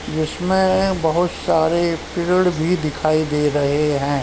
जिसमे बहोत सारे पेड़ भी दिखाई दे रहें हैं।